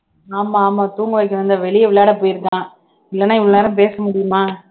ஆமா ஆமா தூங்க வைக்கணும்ன்னுதான் வெளிய விளையாட போயிருக்கான் இல்லன்னா இவ்வளவு நேரம் பேச முடியுமா